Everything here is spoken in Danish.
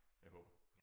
Jeg håber